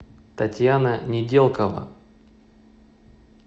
татьяна неделкова